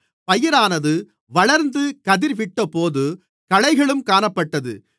பயிரானது வளர்ந்து கதிர்விட்டபோது களைகளும் காணப்பட்டது